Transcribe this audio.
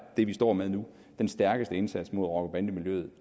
det vi står med nu den stærkeste indsats mod rocker bande miljøet